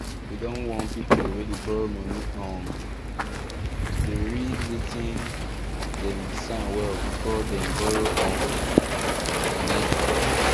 dem don warn people wey dey borrow money um to dey read wetin dem dey sign well before dem borrow um money